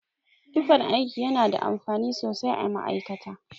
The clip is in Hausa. Tufan aiki yana da amfani sosai a ma'aikata.